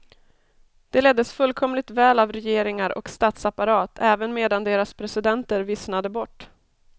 De leddes fullkomligt väl av regeringar och statsapparat även medan deras presidenter vissnade bort.